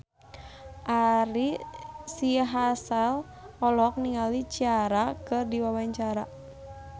Ari Sihasale olohok ningali Ciara keur diwawancara